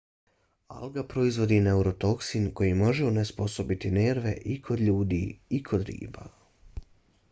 alga proizvodi neurotoksin koji može onesposobiti nerve i kod ljudi i kod riba